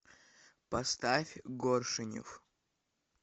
поставь горшенев